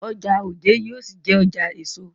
Ọjà Ojé yóò ṣì jé ọjà èso.